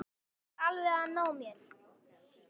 Hann var alveg að ná mér